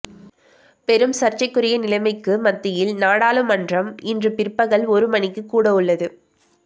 பெரும் சர்ச்சைக்குரிய நிலைமைக்கு மத்தியில் நாடாளுமன்றம் இன்று பிற்பகல் ஒரு மணிக்கு கூடவுள்ளது